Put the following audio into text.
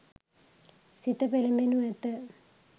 සිත පෙළඹෙනු ඇත.